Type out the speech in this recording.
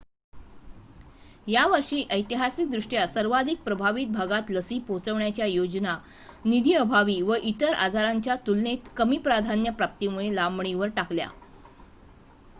यावर्षी ऐतिहासिकदृष्ट्या सर्वाधिक प्रभावित भागात लसी पोहोचवण्याच्या योजना निधीअभावी व इतर आजारांच्या तुलनेत कमी प्राधान्य प्राप्तीमुळे लांबणीवर टाकल्या